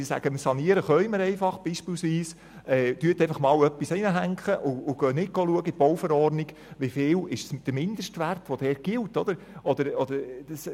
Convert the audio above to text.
Sie sagen, dass sie einfach sanieren können, und hängen beispielsweise einfach etwas hin, ohne in der Bauverordnung nachzuschauen, wie hoch der geltende Mindestwert ist.